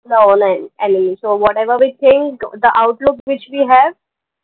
no no enemy so what ever we think the outlook which we have